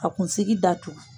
Ka kunsigi datugu.